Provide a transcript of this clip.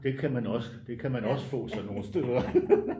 Det kan man også det kan man også få sådan nogle steder